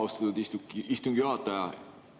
Austatud istungi juhataja!